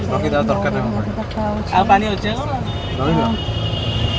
ଆଉ ପାଣି ଅଛି ଆଁ ହିଁ। ଆଉ ପାଣି ଅଛି ଆଁ ହିଁ। ଆଉ ପାଣି ଅଛି ଆଁ ହିଁ।